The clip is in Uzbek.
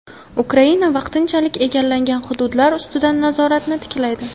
Ukraina vaqtinchalik egallangan hududlar ustidan nazoratini tiklaydi.